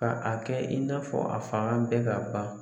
Ka a kɛ in n'a fɔ a fanga bɛɛ ka ban